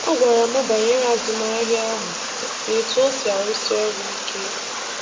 Ọ gwara m banyere azụmahịa ahụ na etu o si arụsị ọrụ ike.